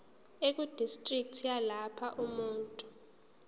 ekudistriki yalapho umuntu